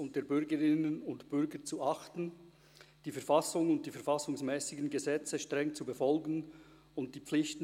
Frau Kusano und Herr von Arx legen das Gelübde ab.